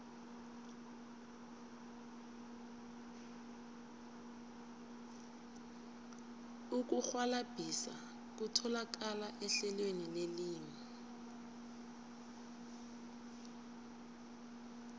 ukurhwalabhisa kutholakala ehlelweni lelimi